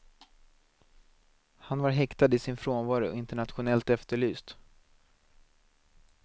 Han var häktad i sin frånvaro och internationellt efterlyst.